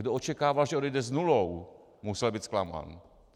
Kdo očekával, že odejde s nulou, musel být zklamán.